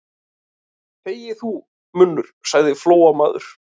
Þegi þú, munnur, sagði Flóamaður.